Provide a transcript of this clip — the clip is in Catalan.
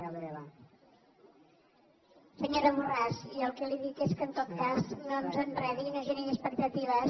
senyora borràs jo el que li dic és que en tot cas no ens enredi i no generi expectatives